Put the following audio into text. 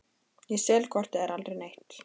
Ég sel hvort eð er aldrei neitt.